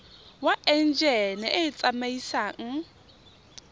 wa enjine e e tsamaisang